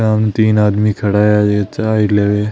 सामने तीन आदमी खड़ा है ये चाय लेव।